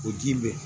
O ji bɛ